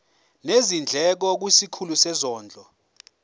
nezindleko kwisikhulu sezondlo